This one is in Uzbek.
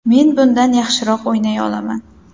Men bundan yaxshiroq o‘ynay olaman”.